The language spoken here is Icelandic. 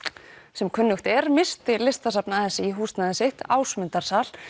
sem kunnugt er missti Listasafn a s í húsnæði sitt Ásmundarsal